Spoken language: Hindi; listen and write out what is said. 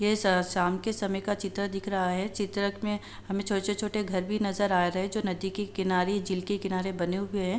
ये शाम के समय का चित्र दिख रहा है। चित्रक में हमे छोटे-छोटे घर भी नज़र आ रहे है जो नदी के किनारे झील के किनारे बने हुए हैं।